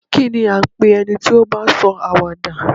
Kí ní à ń pe ẹni tí ó bá ń sọ àwàdà?